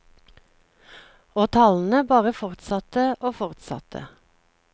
Og talene bare fortsatte og fortsatte.